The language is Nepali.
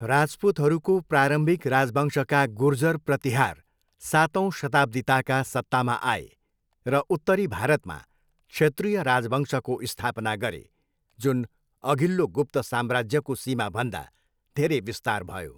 राजपूतहरूको प्रारम्भिक राजवंशका गुर्जर प्रतिहार सातौँ शताब्दीताका सत्तामा आए र उत्तरी भारतमा क्षत्रीय राजवंशको स्थापना गरे जुन अघिल्लो गुप्त साम्राज्यको सीमाभन्दा धेरै विस्तार भयो।